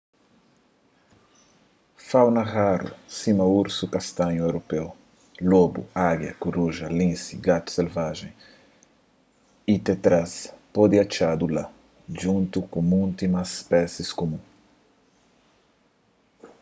fauna raru sima ursu kastanhu europeu lobu ágia kuruja linsi gatu selvajen y tetraz pode atxadu la djuntu ku mutu más spésis kumun